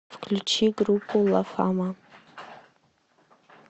включи группу ла фама